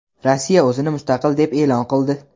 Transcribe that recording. Rossiya o‘zini mustaqil deb e’lon qildi.